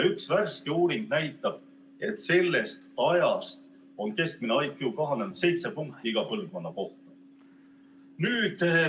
Üks värske uuring näitab, et sellest ajast on keskmine IQ kahanenud 7 punkti iga põlvkonna kohta.